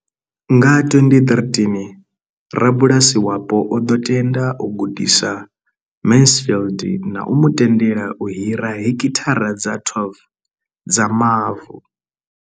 Nga 2013, rabulasi wapo o ḓo tenda u gudisa Mansfield na u mu tendela u hira heki thara dza 12 dza mavu.